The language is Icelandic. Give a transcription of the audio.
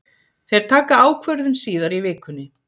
Þeir taka ákvörðun síðar í vikunni.